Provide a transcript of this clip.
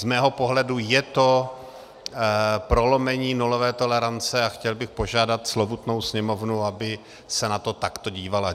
Z mého pohledu je to prolomení nulové tolerance a chtěl bych požádat slovutnou Sněmovnu, aby se na to takto dívala.